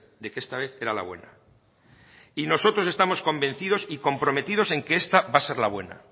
de que esta vez era la buena y nosotros estamos convencidos y comprometidos en que esta va a ser la buena